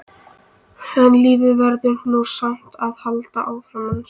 En lífið verður nú samt að halda áfram, manstu!